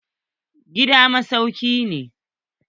Gida masauki ne.